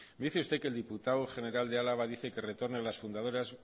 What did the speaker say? dice usted que el diputado general de álava dice que retorne a las fundadoras